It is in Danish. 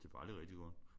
Det var jo aldrig rigtig godt